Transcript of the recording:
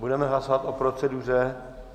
Budeme hlasovat o proceduře.